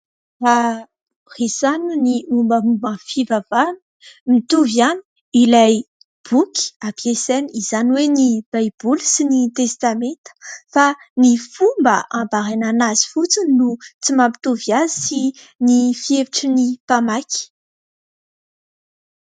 Raha resahina ny mombamomba ny fivavahana, mitovy ihany ilay boky ampiasaina, izany hoe ny baiboly sy ny testameta fa ny fomba hanambarana azy fotsiny no tsy mampitovy azy sy ny fihevitry ny mpamaky.